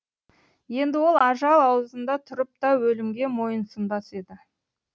енді ол ажал аузында тұрып та өлімге мойынсұнбас еді